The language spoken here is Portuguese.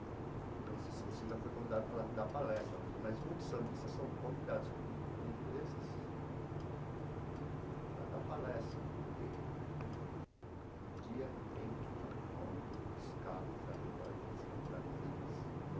Não sei se você já foi convidado para dar palestra mas, mas muitos sambistas são convidados por por empresas para dar palestra, porque no dia tem que estar pronto, os carros alegóricos, as fantasias